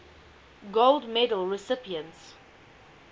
gold medal recipients